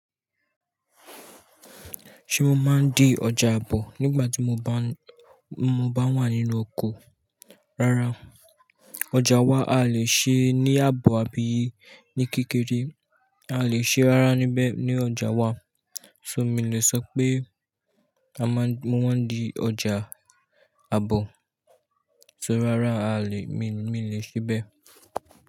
Ṣé mo máa ń di ọjà àbọ̀ nígbà tí mo bá, mo bá wà nínú oko? Rárá, ọjà wa a lè ṣe ní àbọ̀ àbí ní kékeré, a lè ṣe rárá níbẹ̀ ní ọjà wa. So mí lè sọ pé a máa ń, mo máa ń di ọjà àbọ̀, só rárá a lè, mi, mí lè ṣe bẹ́ẹ̀